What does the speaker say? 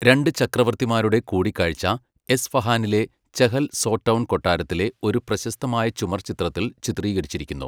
രണ്ട് ചക്രവർത്തിമാരുടെ കൂടിക്കാഴ്ച, എസ്ഫഹാനിലെ ചെഹൽ സോടൗൺ കൊട്ടാരത്തിലെ, ഒരു പ്രശസ്തമായ ചുമർചിത്രത്തിൽ ചിത്രീകരിച്ചിരിക്കുന്നു.